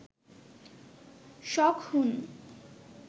শক-হুন